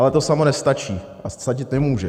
Ale to samo nestačí a stačit nemůže.